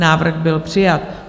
Návrh byl přijat.